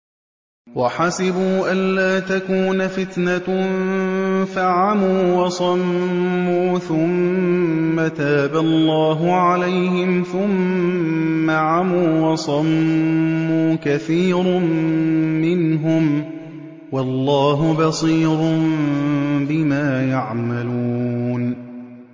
وَحَسِبُوا أَلَّا تَكُونَ فِتْنَةٌ فَعَمُوا وَصَمُّوا ثُمَّ تَابَ اللَّهُ عَلَيْهِمْ ثُمَّ عَمُوا وَصَمُّوا كَثِيرٌ مِّنْهُمْ ۚ وَاللَّهُ بَصِيرٌ بِمَا يَعْمَلُونَ